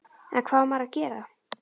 En hvað á maður að gera?